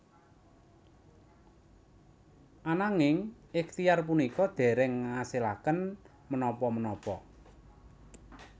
Ananging ikhtiar punika dereng ngasilaken menapa menapa